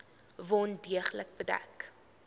wond deeglik bedek